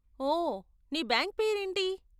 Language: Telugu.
ఓ, నీ బ్యాంక్ పేరేంటి?